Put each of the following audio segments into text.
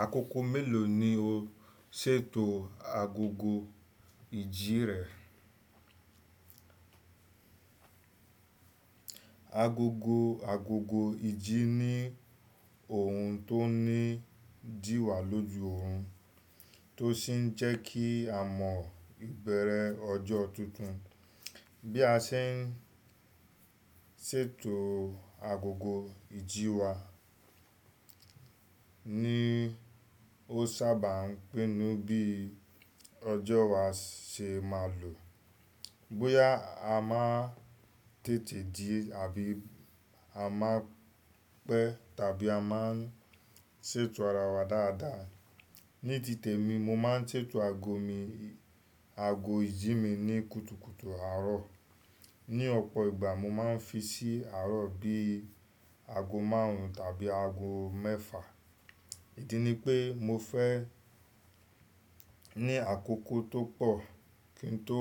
Àkókò mélòó ni o ṣètò agogo ìjí rẹ? Agogo, agogo ìjí ni ohun tó ní ìdíwa lóju ohun tó sì ń jẹ́kí a mọ ìbẹ̀rẹ̀ ọjọ́ tuntun. Bí a ṣe ń sètò agogo ìjí wa ní ó sábà ń pinnu bí ọjọ́ wa se máa lọ. Bóyá a máa tètè jí àbí a má pẹ́ tàbí a má ń ṣètò ara wa dáadáa. Ní ti temi, mo má ń ṣètò ago mi, ago ìjí mi ní kùtùkùtù àárọ̀. Ni ọ̀pọ̀ ìgbà mo má ń fi sí àárọ̀ bí ago márùn tàbí ago mẹ́fà. Èyí ni pé mo fẹ́ ní àkókò tó pọ̀ kí n tó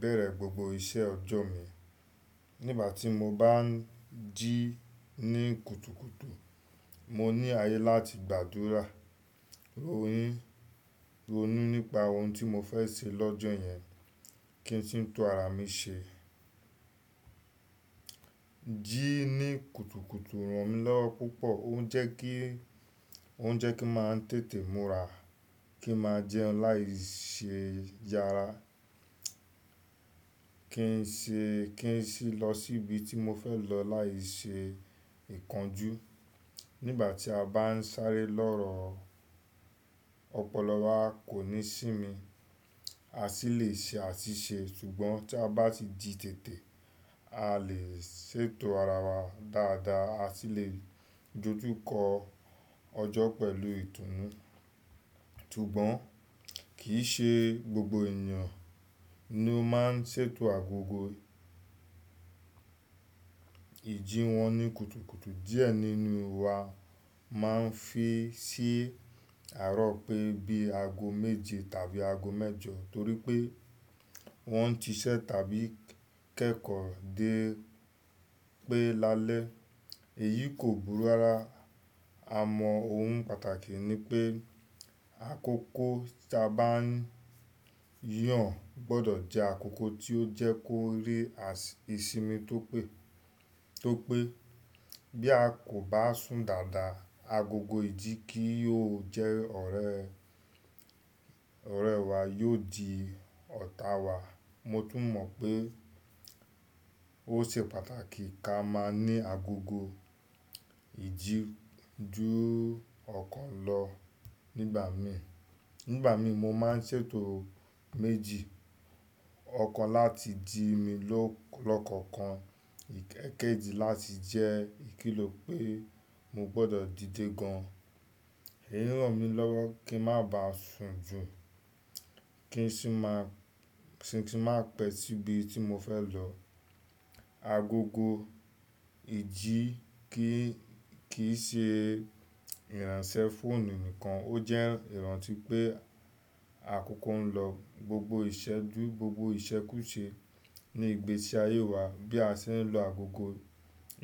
bẹ̀rẹ̀ gbogbo iṣẹ́ ọjọ́ mi. Nígbà tí mo bá ń jí ní kùtùkùtù, mo ní ayé láti gbàdúrà, ro hín, ronú nípa ohun tí mo fẹ́ ṣe lọ́jọ́ yẹn kí n sì tun ara mi ṣe. Jí ní kùtùkùtù ran mí lọ́wọ́ púpọ̀. Ó ń jẹ́ kí, ó ń jẹ́ kí n máa tètè múra, kí ń máa jẹun láìṣe yára, kí n ṣe, kí n sì lọ síbi tí mo fẹ́ lọ láìṣe ìkánjú. Nígbà tí a bá ń sáré lọ́rọ̀, ọ̀pọ̀lọ wa kò ní sími. A sì lè ṣe àṣìṣe ṣùgbọ́n tí a bá ti jí tètè, a lè ṣètò ara wa dáadáa. A sì lè dójú kọ ọjọ́ pẹ̀lú ìtùnú. Ṣùgbọ́n kì í ṣe gbogbo ènìyàn ni ó má ń ṣètò agogo ìjí wọn ní kùtùkùtù. Díẹ̀ nínú wa má ń fi sí àárọ̀ pé bí ago méje tàbí ago mẹ́jọ torí pé wọ́n ń ṣiṣẹ́ tàbí kẹ́kọ̀ọ́ dé pé lálẹ́. Èyí kò búra ra. A mọ ohun pàtàkì ni pé àkókò tí a bá ń yàn gbọdọ̀ jẹ́ àkókò tí ó jẹ́ kó rí as ìsimi tó pé. Tó pé bí a kò bá sùn dáadáa, agogo ìjí kí ó jẹ́ ọ̀rẹ́, ọ̀rẹ́ wa yóò di ọ̀tá wa. Mo tún mọ̀ pé ó ṣe pàtàkì ka máa ní agogo ìjí ju ọ̀kan lọ. Nígbà mi, nígbà mi mo má ń ṣètò méjì. Ọ̀kan láti jí mi lo lọ́kọ̀kan, èkejì láti jẹ́ ìkìlò pé mo gbọdọ̀ dìde gan. In ran mi lọ́wọ́ kí n má ba sùn jù kí n sì má pẹ́ síbi tí mo fẹ́ lọ. Agogo ìjí kì í ṣe ìránṣẹ́ fóònù nìkan, ó jẹ́ ìrántí pé àkókò ń lọ. Gbogbo ìṣẹ́ ju gbogbo ìṣẹ́ kù ṣe ní ìgbésí ayé wa. Bí a ṣe ń lo àkókò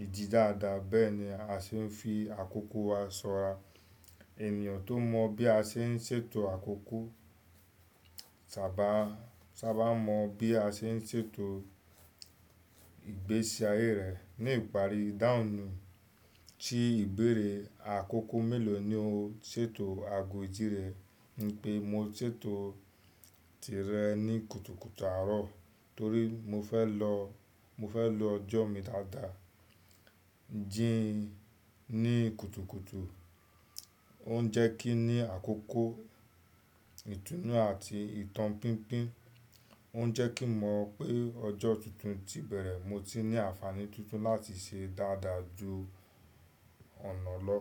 ìjí dáadáa, bẹ́ẹ̀ ni a ṣe ń fi àkókò wa ṣọra. Ènìyàn tó mọ̀ bí a ṣe ń ṣètò àkókò sábà, sábà mọ bí a ṣe ń ṣètò ìgbésí ayé rẹ̀. Ni ìparí, idahun ni tí ìbéèrè àkókò mélòó ni o ṣètò ago ìjí rẹ ni pé mo ṣètò tirẹ̀ ní kùtùkùtù àárọ̀ torí mo fẹ́ lọ, mo fẹ́ lo ọjọ́ mi dáadáa. Jí ní kùtùkùtù ó ń jẹ́ kí ní àkókò, ìtùnú àti ìtàn pínpín. Ó ń jẹ́ kí n mọ̀ pé ọjọ́ tuntun tí bẹ̀rẹ̀ mo ti ní àǹfààní tuntun láti ṣe dáadáa ju ọ̀nà lọ.